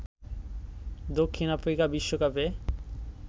দক্ষিণ আফ্রিকা বিশ্বকাপে